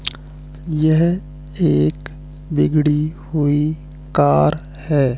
यह एक बिगड़ी हुई कार हैं।